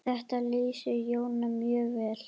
Þetta lýsir Jóni mjög vel.